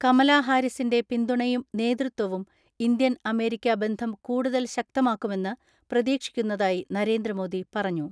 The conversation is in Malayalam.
കമലാഹാരിസിന്റെ പിന്തുണയും നേതൃത്വവും ഇന്ത്യൻ അമേരിക്ക ബന്ധം കൂടുതൽ ശക്തമാക്കുമെന്ന് പ്രതീക്ഷിക്കുന്നതായി നരേന്ദ്രമോദി പറഞ്ഞു.